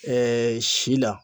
Ɛɛɛ si la